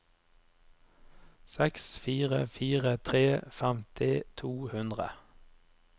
seks fire fire tre femti to hundre